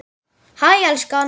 Hæ elskan!